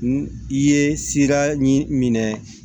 I ye sira ɲin minɛ